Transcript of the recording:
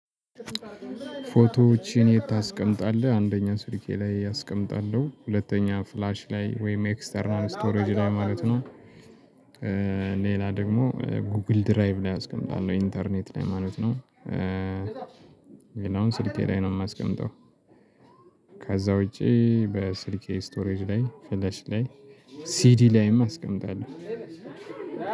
ፎቶዎችን የት ታስቀምጣለህ? አንደኛ ስልኬ ላይ አስቀምጣለሁ ሁለተኛ ፍላሽ ላይ ወይም ኤክስተርናል ስቶሬጅ ላይ ማለት ነው። ሌላ ደግሞ ጉግል ድራይቭ ላይ አስቀምጣለሁ ኢንተርኔት ላይ ማለት ነው። ሌላውን ስልኬ ላይ ነው የማስቀምጠው። ከዚያ ውጪ በስልኬ ስቶሬጅ ላይ ፍለሽ ላይ ሲዲ ላይም አስቀምጣለሁ።